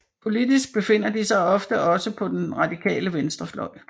Politisk befinder de sig ofte også på den radikale venstrefløj